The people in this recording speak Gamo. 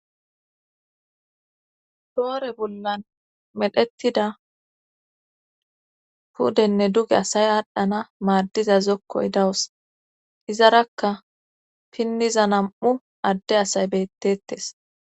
doore bollan medhetida pudenne duge asay aadhdhana maaddiza zokkoy dawus izarakka pinniza nam7u adde asay bettettes